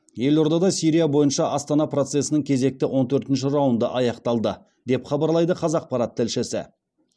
елордада сирия бойынша астана процесінің кезекті он төртінші раунды аяқталды деп хабарлайды қазақпарат тілшісі